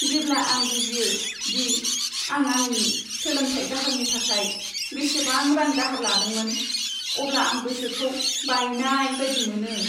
जेब्ला आं बुजियो दि आं आंनि सोलोंथाय दाहारनि थाखाय बेसेबां रां दाहार लादोंमोन, अब्ला आं गोसोखौ बायनाय बायदि मोनो।